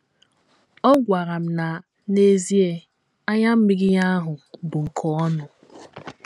Ọ gwara m na, n’ezie, anya mmiri ya ahụ bụ nke ọṅụ.